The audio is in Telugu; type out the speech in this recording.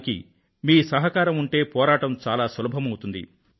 దానికి మీ సహకారం ఉంటే పోరాటం చాలా సులభమవుతుంది